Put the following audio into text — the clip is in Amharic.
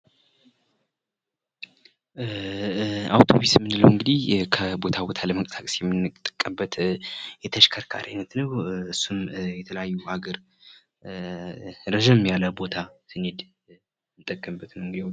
አውቶቡስ የምንለው እንግዲህ ከቦታ ቦታ ለመንቀሳቀስ የምንጠቀምበት የተሽከርካሪ አይነት ነው። እሱም የተለያዩ ሀገር ረዘም ያለ ቦታ ስንሄድ የምንጠቀምበት ነው።